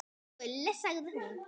Gulli, sagði hún.